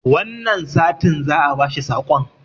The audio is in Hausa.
wannan satin za a bashi sakon